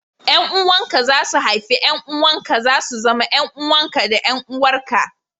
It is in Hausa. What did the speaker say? Yan uwanka za su haifu 'ƴan uwanka, za su zama 'yan uwanka da 'yan uwarka